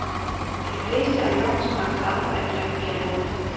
De fleste af lovens paragraffer er blevet fjernet.